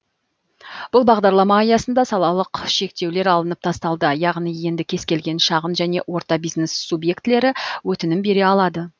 бұл бағдарлама аясында салалық шектеулер алынып тасталды яғни енді кез келген шағын және орта бизнес субъектілері өтінім бере алады